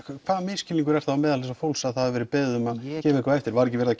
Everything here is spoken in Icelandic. hvaða misskilningur er þá meðal þessa fólks að það hafi verið beðið um að gefa eitthvað eftir var ekki verið að